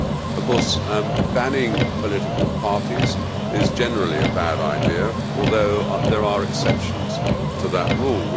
Of course, banning political parties is generally a bad idea, although there are exceptions to that rule.